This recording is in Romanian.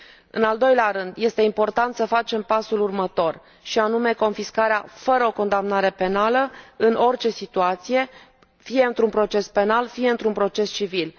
În al doilea rând, este important să facem pasul următor, și anume, confiscarea fără o condamnare penală, în orice situație, fie într un proces penal, fie într un proces civil.